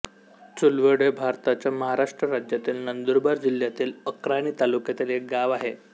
चुलवड हे भारताच्या महाराष्ट्र राज्यातील नंदुरबार जिल्ह्यातील अक्राणी तालुक्यातील एक गाव आहे